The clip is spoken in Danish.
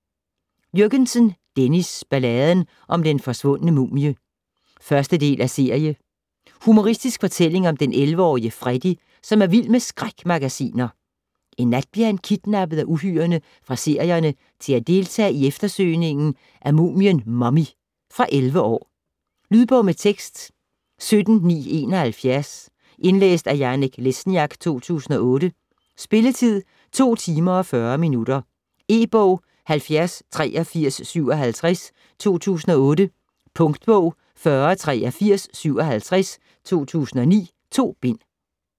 Jürgensen, Dennis: Balladen om den forsvundne mumie 1. del af serie. Humoristisk fortælling om 11-årige Freddy, som er vild med skrækmagasiner. En nat bliver han kidnappet af uhyrerne fra serierne til at deltage i eftersøgningen af mumien Mummy. Fra 11 år. Lydbog med tekst 17971 Indlæst af Janek Lesniak, 2008. Spilletid: 2 timer, 40 minutter. E-bog 708357 2008. Punktbog 408357 2009. 2 bind.